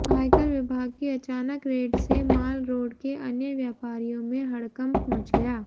आयकर विभाग की अचानक रेड से माल रोड के अन्य व्यापारियों में हड़कंप मच गया